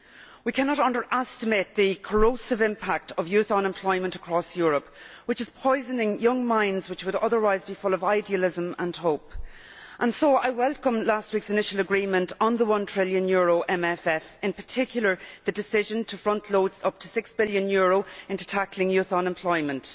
We cannot underestimate the corrosive impact of youth unemployment across Europe, which is poisoning young minds which would otherwise be full of idealism and hope. So I welcome last week's initial agreement on the one trillion euro MFF, and in particular the decision to front load up to EUR 6 billion into tackling youth unemployment.